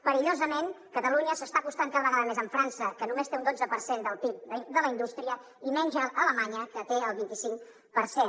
perillosament catalunya s’està acostant cada vegada més a frança que només té un dotze per cent del pib de la indústria i menys a alemanya que en té el vint i cinc per cent